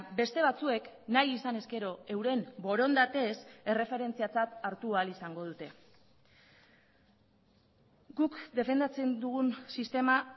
beste batzuek nahi izan ezkero euren borondatez erreferentziatzat hartu ahal izango dute guk defendatzen dugun sistema